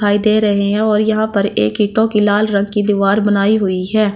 दिखाई दे रहे हैं और यहां पर एक ईटों की लाल रंग की दीवार बनाई हुई है।